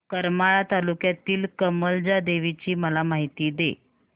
करमाळा तालुक्यातील कमलजा देवीची मला माहिती दे